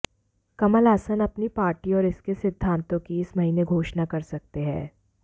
कमल हासन अपनी पार्टी और इसके सिद्धांतों की इस महीने घोषणा कर सकते हैं